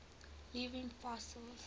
living fossils